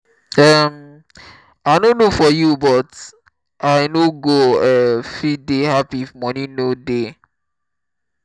um i no know for you but i no go um fit dey happy if money no dey um